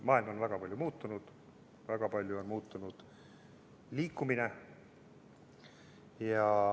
Maailm on väga palju muutunud, väga palju on muutunud ka liikumine.